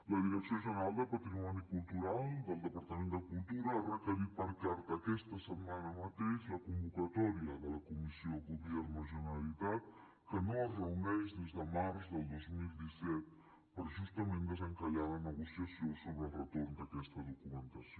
la direcció general de patrimoni cultural del departament de cultura ha requerit per carta aquesta setmana mateix la convocatòria de la comissió gobierno generalitat que no es reuneix des de març del dos mil disset per justament desencallar la negociació sobre el retorn d’aquesta documentació